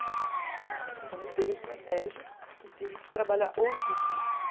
Então, eu mudei a estratégia e tive que trabalhar outro curso.